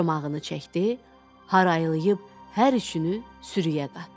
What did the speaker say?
Çomağını çəkdi, harayılayıb hər üçünü sürüyə qatdı.